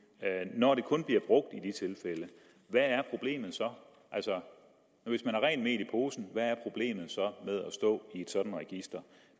når det kun bliver brugt i de tilfælde hvad er problemet så altså hvis man har rent mel i posen hvad er problemet så med at stå i et sådant register